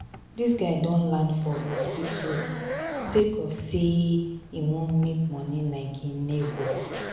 dis guy don land for for hospital sake of sey e wan make moni like im nebor.